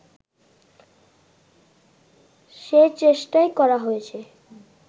সে চেষ্টাই করা হয়েছে